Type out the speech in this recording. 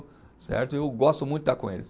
Certo. Eu gosto muito de estar com eles.